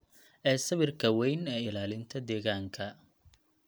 ee sawirka weyn ee ilaalinta deegaanka.